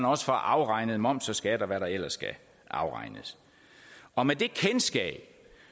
også afregnes moms og skat og hvad der ellers skal afregnes og med det kendskab